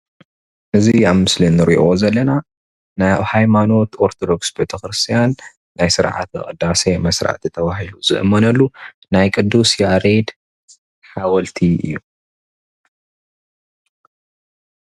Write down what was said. እዚ አብ ምስሊ እንሪኦ ዘለና ናይ ሃይማኖት አርቶዶክስ ቤተክርስትያን ናይ ስርዓተ ቅዳሴ መስራቲ ተባሂሉ ዝእመነሉ ናይ ቅድስ ያሬድ ሓወልቲ እዩ፡፡